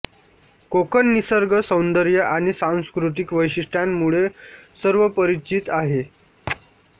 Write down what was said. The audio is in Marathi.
कोकण निसर्ग सौंदर्य आणि सांस्कृतिक वैशिष्ट्यांमुळे सर्वपरिचित आहे